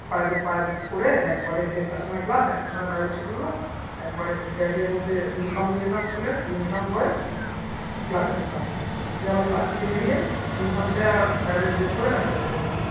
private পড়ে একবারে দেড়টার সময় class একটার সময় private ছুটি হলো একেবারে bag র মধ্যে uniform নিয়ে যেতাম school এর uniform পড়ে class এ ঢুকতাম। দিয়ে আবার class থেকে বেরিয়ে uniform ছেড়ে আবার private dress পড়ে বাড়ি চলে যেতাম